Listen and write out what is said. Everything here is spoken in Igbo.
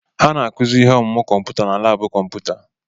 Ha na-akụzi ihe ọmụmụ kọmputa na labu kọmputa.